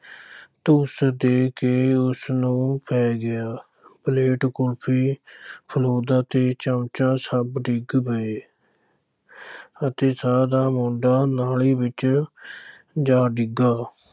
ਧੁੱਸ ਦੇ ਕੇ ਉਸ ਨੂੰ ਪੈ ਗਿਆ, ਪਲੇਟ, ਕੁਲਫ਼ੀ ਫਲੂਦਾ ਤੇ ਚਮਚਾ ਸਭ ਡਿਗ ਪਏ ਅਤੇ ਸ਼ਾਹ ਦਾ ਮੁੰਡਾ ਨਾਲੀ ਵਿੱਚ ਜਾ ਡਿੱਗਾ।